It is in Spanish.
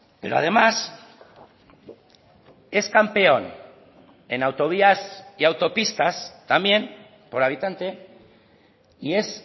pero además es campeón en autovías y autopistas también por habitante y es